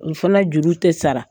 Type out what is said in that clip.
O fana juru tɛ sara.